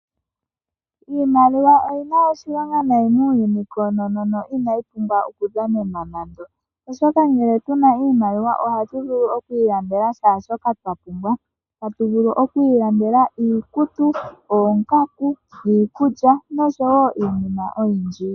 Iimaliwa oyina oshilonga nayi muuyuni koonono inayi pumbwa oku dhanenwa nando oshoka ngele tuna iimaliwa ohatu vulu oku ilandela kehe shoka twapumbwa. Hatu vulu oku ilandela iikutu ,oongaku, iikulya noshowo iinima oyindji.